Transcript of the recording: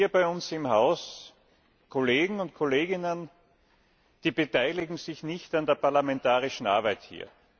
Es gibt hier bei uns im Haus Kolleginnen und Kollegen, die beteiligen sich nicht an der parlamentarischen Arbeit hier.